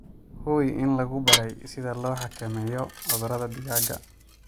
Hubi in lagu baray sida loo xakameeyo cudurrada digaagga.